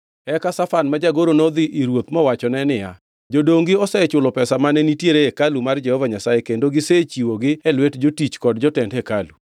Eka Shafan ma jagoro nodhi ir ruoth mowachone niya, “Jodongi osechulo pesa mane nitiere e hekalu mar Jehova Nyasaye kendo gisechiwogi e lwet jotich kod jotend hekalu.”